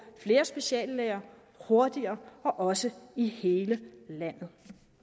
flere speciallæger hurtigere og også i hele landet